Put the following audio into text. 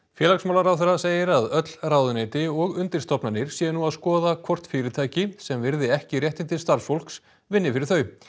félagsmálaráðherra segir að öll ráðuneyti og undirstofnanir séu nú að skoða hvort fyrirtæki sem virði ekki réttindi starfsfólks vinni fyrir þau